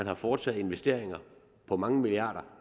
har foretaget investeringer på mange milliarder